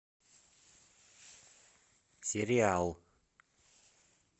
сериал